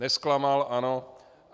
Nezklamal, ano.